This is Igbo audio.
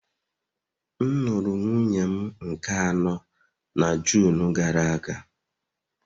M lụrụ nwunye m nke anọ na June gara aga